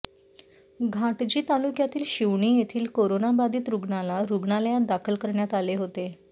घाटंजी तालुक्यातील शिवणी येथील करोनाबाधित रुग्णाला रुग्णालयात दाखल करण्यात आले होते